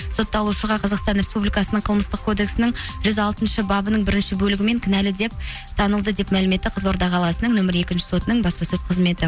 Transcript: сотталушыға қазақстан республикасының қылмыстық кодексінің жүз алтыншы бабының бірінші бөлігімен кінәлі деп танылды деп мәлім етті қызылорда қаласының нөмірі екінші сотының баспасөз қызметі